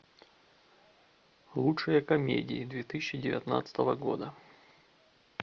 лучшие комедии две тысячи девятнадцатого года